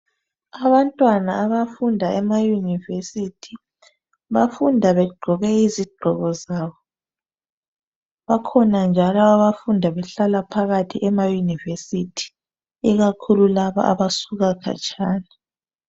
Abantwana abafunda emayunivesithi, bafunda begqoke izigqoko zabo. Bakhona njalo abafunda behlala phakathi emayunivesithi, ikakhulu laba abasuka khatshana.